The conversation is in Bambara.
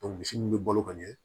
misi min bɛ balo ka ɲɛ